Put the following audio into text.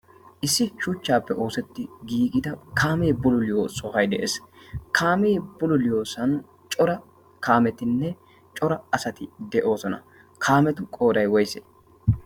issi shuchchaappe oosetti giigida kaamee bululiyo sohai de'ees. kaamee bululiyoosan cora kaametinne cora asati de'oosona. kaametu qooday woyse?